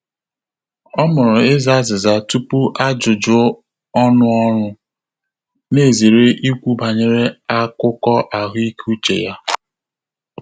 Ọ́ mụrụ ịzà àzị́zà túpù ájụ́jụ́ ọ́nụ́ ọ́rụ́, nà-èzéré íkwú bànyèrè ákụ́kọ́ àhụ́ị́ké úchè yá.